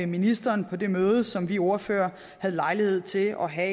ministeren på det møde som vi ordførere havde lejlighed til at have